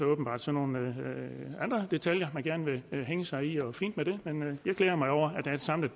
åbenbart sådan nogle andre detaljer man gerne vil hænge sig i og fint med det men men jeg glæder mig over at der samlet